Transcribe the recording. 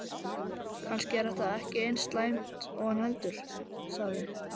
Kannski er þetta ekki eins slæmt og hann heldur, sagði